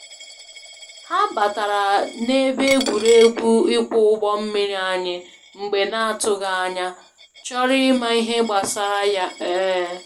Ha batara na ebe egwuregwu ịkwọ ụgbọ mmiri anyị mgbe n'atụghị anya, chọrọ ịma ihe gbasara ya um